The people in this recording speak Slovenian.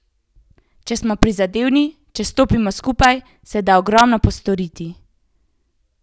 Če smo prizadevni, če stopimo skupaj, se da ogromno postoriti.